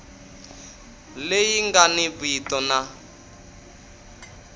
leyi nga ni vito na